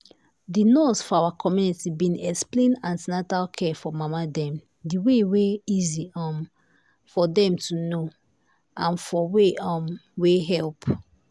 the nurse for our community been explain an ten atal care for mama dem the way wey easy um for dem to know um and for way um wey help.